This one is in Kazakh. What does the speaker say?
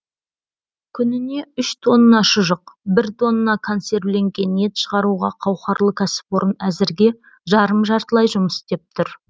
күніне үш тонна шұжық бір тонна консервіленген ет шығаруға қауқарлы кәсіпорын әзірге жарым жартылай жұмыс істеп тұр